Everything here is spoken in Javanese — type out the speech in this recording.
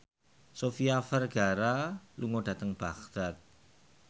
Sofia Vergara lunga dhateng Baghdad